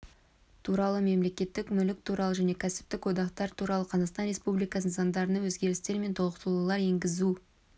туралы мемлекеттік мүлік туралы және кәсіптік одақтар туралы қазақстан республикасының заңдарына өзгерістер мен толықтырулар енгізу